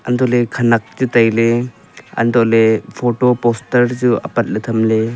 untohley khenak chu tailey untohley photo poster chu apatley thamley.